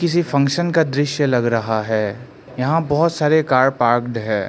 किसी फंक्शन का दृश्य लग रहा है यहां बहोत सारे कार पार्कड हैं।